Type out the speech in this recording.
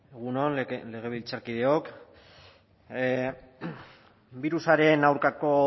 egun on legebiltzarkideok birusaren aurkako